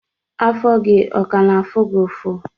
Afọ gi ọ ka na-afụ gi ụfụ?